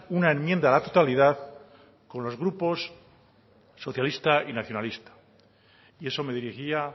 una enmienda a la totalidad con los grupos socialista y nacionalista y eso me dirigía